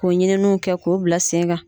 Ko ɲininiw kɛ k'u bila sen kan.